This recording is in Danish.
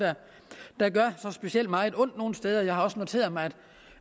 der gør så specielt meget ondt nogen steder jeg har også noteret mig